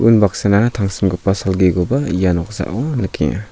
unbaksana tangsimgipa salgikoba ia noksao nikenga.